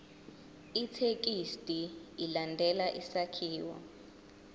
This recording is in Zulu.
ithekisthi ilandele isakhiwo